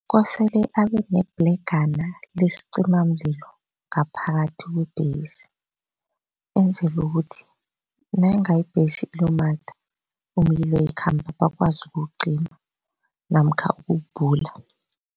Kosele abe nebhlegana lesicimamlilo ngaphakathi kwebhesi enzele ukuthi nayinga ibhesi ilumatha umlilo yikhamba bakwazi ukuwucima namkha ukubhula.